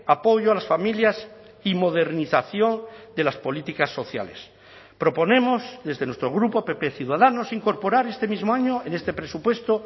apoyo a las familias y modernización de las políticas sociales proponemos desde nuestro grupo pp ciudadanos incorporar este mismo año en este presupuesto